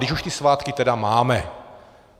Když už ty svátky tedy máme.